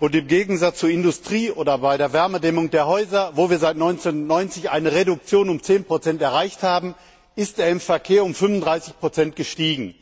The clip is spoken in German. und im Gegensatz zur Industrie oder bei der Wärmedämmung der Häuser, wo wir seit 1990 eine Reduktion um 10 erreicht haben, sind sie im Verkehr um 35 gestiegen.